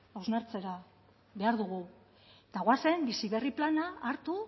hausnartzera behar dugu eta goazen bizi berri plana hartu